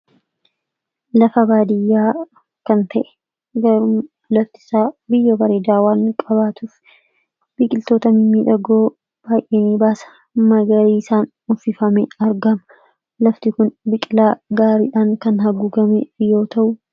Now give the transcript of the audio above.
Lafa baadiyyaa kan ta'e gaaruma laftisaa biyyo bareedaa waan qabaatuuf biqiltoota midhagoo baay'enii baala magariisaan uffifame argama. Lafti kun biqilaa gaariidhaan kan haguuggamedha.